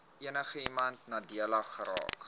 enigiemand nadelig geraak